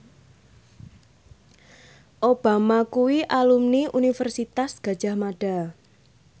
Obama kuwi alumni Universitas Gadjah Mada